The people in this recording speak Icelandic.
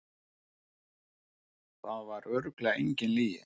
Það var örugglega engin lygi.